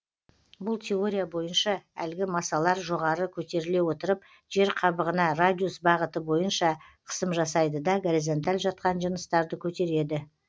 бұл теория бойынша әлгі массалар жоғары көтеріле отырып жер қабығына радиус бағыты бойынша қысым жасайды да горизонталь жаткан жыныстарды көтереді